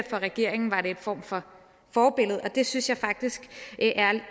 for regeringen var en form for forbillede og det synes jeg faktisk er